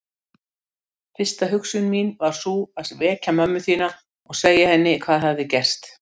Fyrsta hugsun mín var sú að vekja mömmu þína og segja henni hvað hafði gerst.